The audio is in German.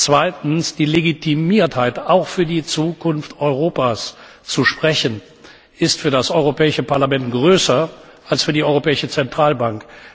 Zweitens, die Legitimiertheit, auch für die Zukunft Europas zu sprechen, ist für das Europäische Parlament größer als für die Europäische Zentralbank.